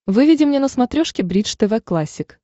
выведи мне на смотрешке бридж тв классик